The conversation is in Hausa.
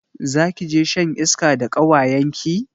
Zakije shan iska da kawayenki?